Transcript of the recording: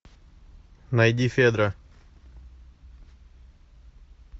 найди федра